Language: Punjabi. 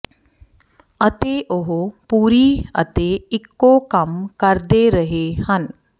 ਅਤੇ ਉਹ ਪੂਰੀ ਅਤੇ ਇੱਕੋ ਕੰਮ ਕਰਦੇ ਰਹੇ ਹਨ